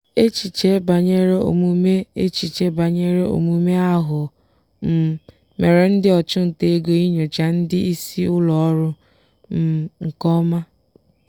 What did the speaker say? echiche banyere omume echiche banyere omume aghụghọ um mere ndị ọchụnta ego inyocha ndị isi ụlọọrụ um nke ọma.